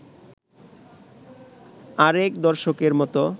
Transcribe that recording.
আরেক দর্শকের মত